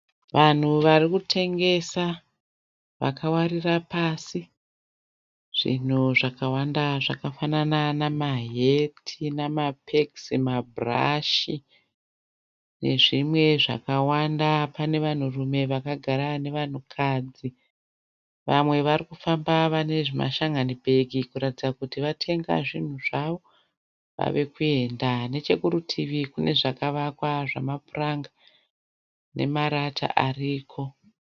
Vanhu varikutengesa vakawarira pasi zvinhu zvakawanda zvakafanana namaheti , namapegisi, mabhurashi nezvimwe zvakawanda. Pane vanhurume vakagara nevanhukadzi. Vamwe varikufamba vane mashan'ani bhegi kuratidza kuti vatenga zvinhu zvavo, vavekuenda. Nechekurutivi kune zvakavakwa zvamapuranga namarata ariko.